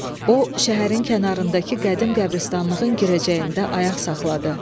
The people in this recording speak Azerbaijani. O, şəhərin kənarındakı qədim qəbristanlığın girəcəyində ayaq saxladı.